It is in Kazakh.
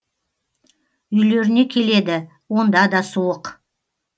үйлеріне келеді онда да суық